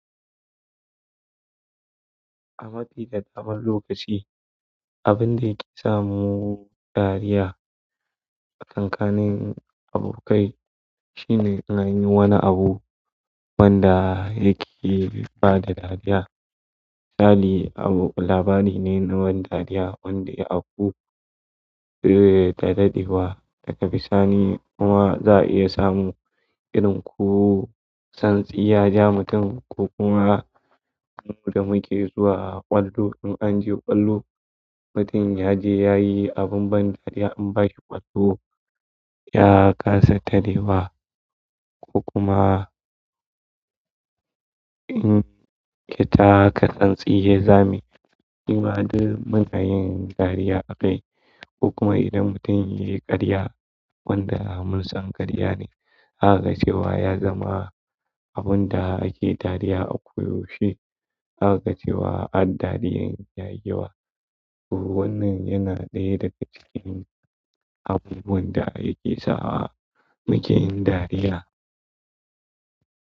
A mafi da daban lokaci, abun da yake samu dariya a stakankanin abokai shine in anyi wani abu wanda yake bada dariya. Misali, abu labari ne na wani dariya wanda aku, eh, da daɗewa da ga bi sani, kuma za a iya samu irin ku santsi ya ja mutum ko kuma abin da muke zuwa ƙwallo. In an je ƙwallo, mutum ya je yayi abin ban dariya in bashi ƙwallo, ya kasa ta tarewa ko kuma in ya taka santsi ya zame. Kuma duk munayin dariya akwai. Ko kuma idan mutum yayi karya wanda munsan karya ne zamuce ya zama abun da ake dariya ako yaushe. Zaka ga cewa haddariyar, ya yi wa. Wannan yana ɗaya daga cikin abubuwan da yake sawa mukeyin dariya.